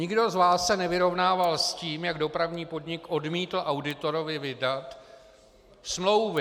Nikdo z vás se nevyrovnával s tím, jak Dopravní podnik odmítl auditorovi vydat smlouvy.